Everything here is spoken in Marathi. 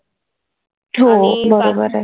हो बरोबर आहे.